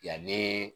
Yanni